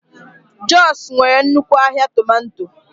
Jos nwere nnukwu ahịa tomato.